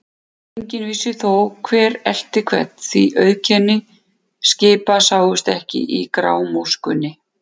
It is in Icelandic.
Enginn vissi þó, hver elti hvern, því að auðkenni skipa sáust ekki í grámóskunni.